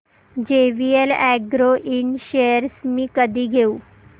JVL agro ind shares मी कधी घेऊ